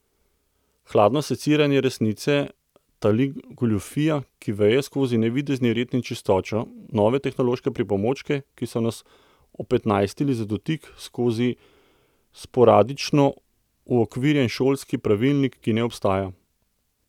Hladno seciranje resnice tali goljufija, ki veje skozi navidezni red in čistočo, nove tehnološke pripomočke, ki so nas opetnajstili za dotik, skozi sporadično uokvirjen šolski pravilnik, ki ne obstaja.